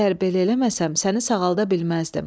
Əgər belə eləməsəm, səni sağalda bilməzdim.